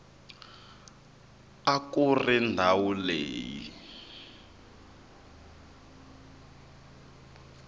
a ku ri ndhawu leyi